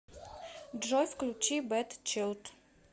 джой включи бэд чилд